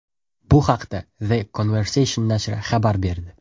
Bu haqda The Conversation nashri xabar berdi .